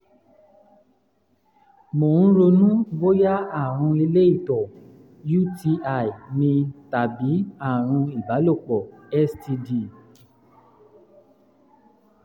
mò ń ronú bóyá àrùn ilé ìtọ̀ (uti) ni tàbí àrùn ìbálòpọ̀ (std)